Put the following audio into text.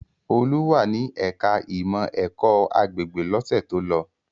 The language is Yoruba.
Olú wà ní ẹ̀ka-ìmọ̀ ẹ̀kọ́-agbègbè lọ́sẹ̀ tó lọ.